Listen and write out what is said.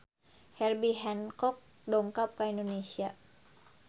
Herbie Hancock dongkap ka Indonesia